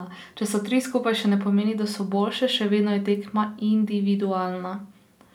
Če so tri skupaj, še ne pomeni, da so boljše, še vedno je tekma individualna.